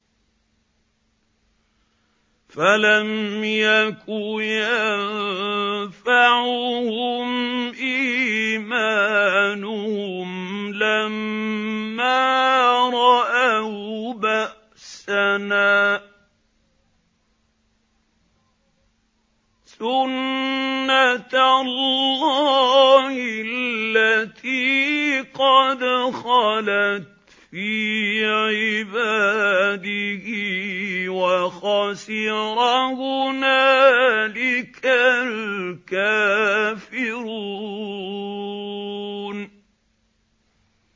فَلَمْ يَكُ يَنفَعُهُمْ إِيمَانُهُمْ لَمَّا رَأَوْا بَأْسَنَا ۖ سُنَّتَ اللَّهِ الَّتِي قَدْ خَلَتْ فِي عِبَادِهِ ۖ وَخَسِرَ هُنَالِكَ الْكَافِرُونَ